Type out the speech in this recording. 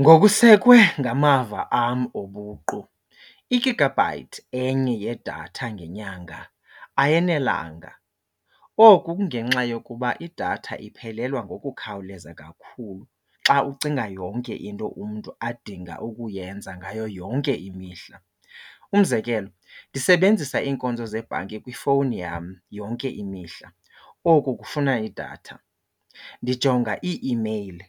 Ngokusekwe ngamava am obuqu igigabhayithi enye yedatha ngenyanga ayanelanga. Oku kungenxa yokuba idatha iphelelwa ngokukhawuleza kakhulu xa ucinga yonke into umntu adinga ukuyenza ngayo yonke imihla. Umzekelo ndisebenzisa iinkonzo zebhanki kwifowuni yam yonke imihla, oku kufuna idatha. Ndijonga ii-imeyili,